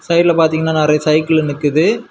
சைடுல பாத்தீங்கன்னா நிறைய சைக்கிளு நிக்குது.